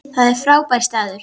Það er frábær staður.